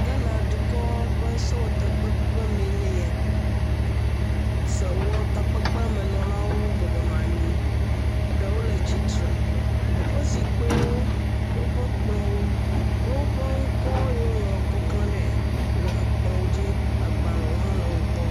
Ghana dukɔ ƒe sewɔ takpeƒe meɛ nye ya sewɔ takoeƒe menɔlawo bɔbɔ nɔanyi eɖewo le tsitsre, wóƒe zikpiwo wóƒe kplɔwo kple wóƒe ŋkɔwo yoo wó klã ɖe ekplɔ̃ dzí, agbalēwo hã le wógbɔ